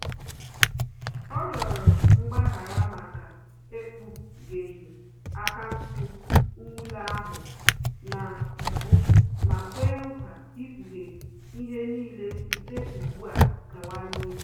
Ọ rịọrọ mgbaghara maka ekpugheghi akaụntụ nwuli ahụ na mbụ ma kwe nkwa ikpughe ihe n'ile site ụgbụ a gawa n'ihu